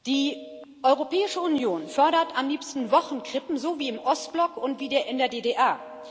Die Europäische Union fördert am liebsten Wochenkrippen wie im Ostblock und wie in der DDR.